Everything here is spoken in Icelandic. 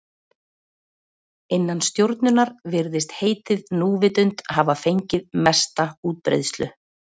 Innan stjórnunar virðist heitið núvitund hafa fengið mesta útbreiðslu.